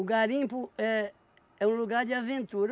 garimpo é... É um lugar de aventura.